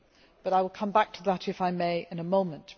But I will come back to that, if I may, in a moment.